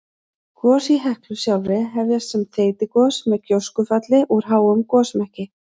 Gos í Heklu sjálfri hefjast sem þeytigos með gjóskufalli úr háum gosmekki.